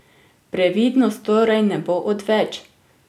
Previdnost torej ne bo odveč!